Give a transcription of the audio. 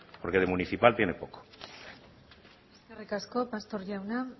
porque de municipal tiene poco eskerrik asko pastor jauna